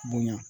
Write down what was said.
Bonɲa